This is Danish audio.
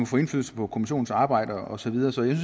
få indflydelse på kommissionens arbejde og så videre så jeg